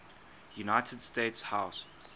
united states house